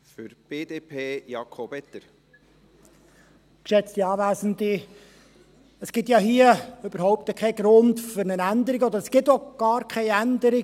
Es gibt ja hier überhaupt keinen Grund für eine Änderung, und es gibt auch gar keine Änderung.